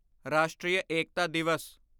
Rashtriya Ekta Divas